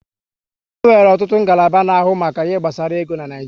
E nwere ọtụtụ ngalaba na-ahụ maka ihe gbasara ego n'Naijiria